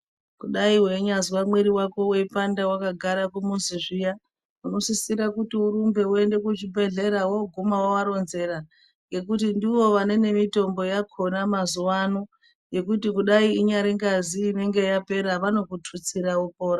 Kudayi weinyazwe mwiiri wako weipanda wakagara kumuzi zviya unosisire kuti urumbe uende kuchibhedhlera woguma woaronzera ngekuti ndivo vane nemitombo yakona mazuvaano yekuti kudayi inyari ngazi inenge yapera vanokututsira wopora.